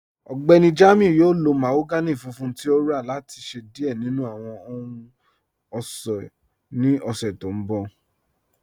Ọgbẹ́ni Jamiu yọ̀ò lọ̀ mahogany fùnfùn tí o rà láti ṣẹ diẹ̀ nínu awọn ọhun-ọṣọ́ ní ọ̀ṣẹ̀ tó nbọ̀.